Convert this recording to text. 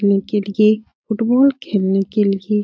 ने के लिये फुटबॉल खेलने के लिये --